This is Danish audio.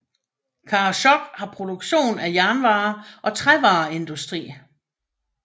Karasjok har produktion af jernvarer og trævareindustri